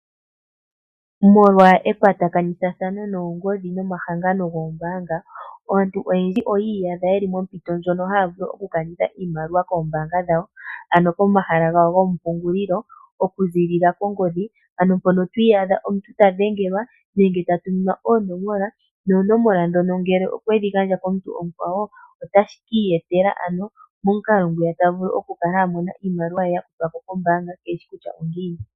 Molwa ekwatakanithathano lyoongodhi nomahangano goombanga aantu oyendji oyi iyadha yeli mompito ndjono haya vulu okukanitha iimaliwa koombaanga dhawo, ano komahala gawo goompungulilo oku zilila kongodhi ano mpono ti iyadha omuntu ta dhengelwa nenge tatuminwa oonomola, noonomola dhono ngele okwedhi gandja komuntu omukwawo otashi kiiyetela ano momukalo ngwiya ta vulu okukala amona ano iimaliwa ye ya kuthwako kombaanga keshi kutya ongiini.